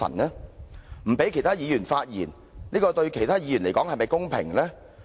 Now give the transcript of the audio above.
不讓其他議員發言，對其他議員來說是否公平？